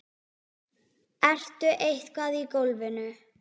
Ertu eitthvað í golfinu?